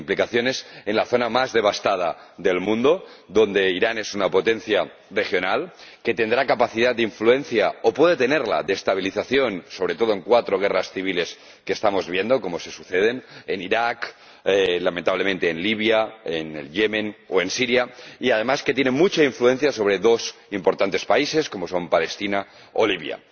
Tiene implicaciones en la zona más devastada del mundo, donde Irán es una potencia regional que tendrá capacidad de influencia ―o puede tenerla―, de estabilización, sobre todo en cuatro guerras civiles que estamos viendo cómo se suceden ―en Irak, lamentablemente en Libia, en Yemen o en Siria― y, además, tiene mucha influencia sobre dos importantes países, como son Palestina o Libia.